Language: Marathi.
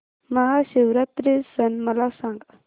महाशिवरात्री सण मला सांग